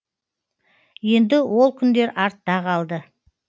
енді ол күндер артта қалды